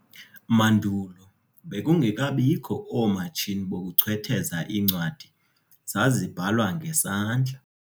Mandulo, bekungekabikho oomatshini bokuchwetheza, iincwadi zazibhalwa ngesandla.